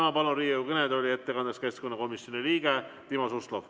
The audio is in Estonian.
Ma palun ettekandeks Riigikogu kõnetooli keskkonnakomisjoni liikme Timo Suslovi.